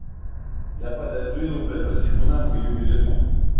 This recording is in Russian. я подойду его блядь рассеку нахуй и уеду